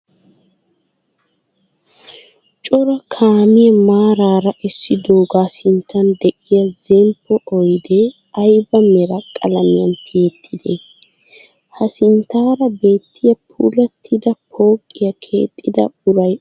Cora kaamiyaa maaraara essidoogaa sinttan diya zemppo oyidee ayiba mera qalamiyan tiyettidee? Ha sinttaara beettiyaa puulattida pooqiyaa keexxida uray oonee?